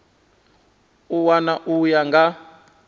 a wana u ya nga